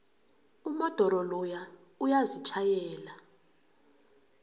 umodoro loya uyazitjhayela